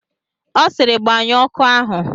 Ọ sịrị, gbanyụọ ọkụ ahụ!